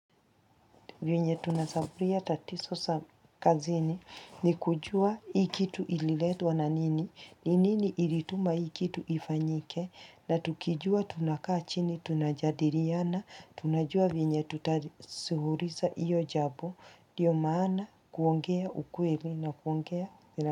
Venye tunasaburia tatizo za kazini ni kujua hii kitu ililetwa na nini, ni nini ilituma hii kitu ifanyike, na tukijua tunakaa chini, tunajadiliana, tunajua vyenye tutasuluhisha hiyo jabo, ndiyo maana kuongea ukweli na kuongea.